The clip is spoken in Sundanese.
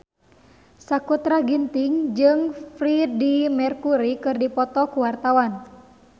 Sakutra Ginting jeung Freedie Mercury keur dipoto ku wartawan